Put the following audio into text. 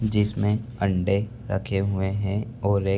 जिसमें अंडे रखे हुए हैं और एक --